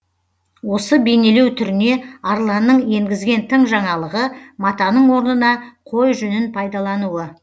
осы бейнелеу түріне арланның енгізген тың жаңалығы матаның орнына қой жүнін пайдалануы